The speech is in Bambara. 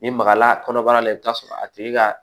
Ni magala kɔnɔbara la i bɛ t'a sɔrɔ a tigi ka